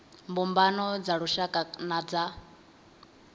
mbumbano dza lushaka na dza